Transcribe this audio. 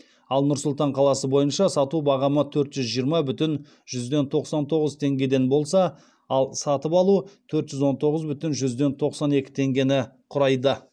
ал нұр сұлтан қаласы бойынша сату бағамы төрт жүз жиырма бүтін тоқсан тоғыз теңгеден болса ал сатып алу төрт жүз он тоғыз бүтін тоқсан екі теңгені құрайды